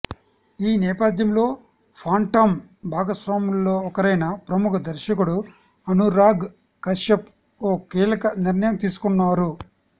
ఈ నేపథ్యంలో ఫాంటమ్ భాగస్వాముల్లో ఒకరైన ప్రముఖ దర్శకుడు అనురాగ్ కశ్యప్ ఓ కీలక నిర్ణయం తీసుకున్నారు